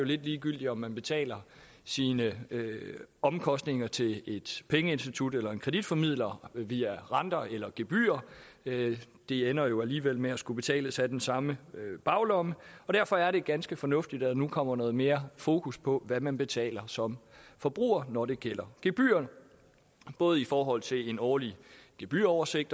lidt ligegyldigt om man betaler sine omkostninger til et pengeinstitut eller en kreditformidler via renter eller via gebyrer det ender alligevel med at skulle betales fra den samme baglomme og derfor er det ganske fornuftigt at der nu kommer noget mere fokus på hvad man betaler som forbruger når det gælder gebyrer både i forhold til en årlig gebyroversigt